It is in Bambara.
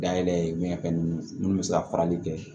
Dayɛlɛ min ka ninnu bɛ se ka farali kɛ